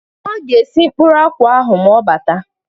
Ọ ga-esi mkpụrụ akwụ ahụ ma ọ bata